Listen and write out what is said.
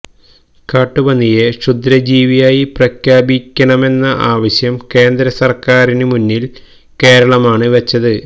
കാട്ടുപന്നിയെ ക്ഷുദ്രജീവിയായി പ്രഖ്യാപിക്കണമെന്ന ആവശ്യം കേന്ദ്ര സർക്കാരിന് മുമ്പിൽ കേരളമാണ് വച്ചത്